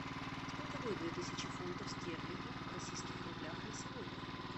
сколько будет две тысячи фунтов стерлингов в российских рублях на сегодня